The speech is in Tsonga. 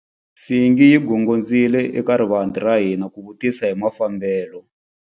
Nsingi yi gongondzile eka rivanti ra hina ku vutisa hi mafambelo.